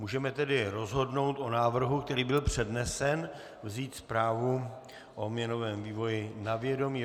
Můžeme tedy rozhodnout o návrhu, který byl přednesen, vzít zprávu o měnovém vývoji na vědomí.